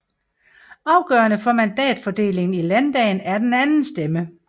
Afgørende for mandatfordelingen i landdagen er den anden stemme